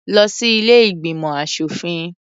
Lọ sí ilé ìgbìmọ̀ aṣòfin.